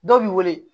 Dɔw b'i wele